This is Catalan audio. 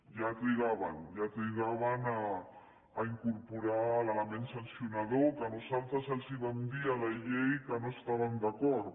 ja trigaven ja trigaven a incorporar l’element sancionador que nosaltres els vam dir a la llei que no hi estàvem d’acord